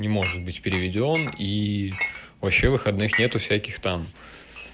не может быть переведён и вообще выходных нету всяких там